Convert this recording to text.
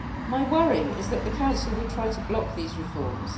My worry is that the Council will try to block these reforms.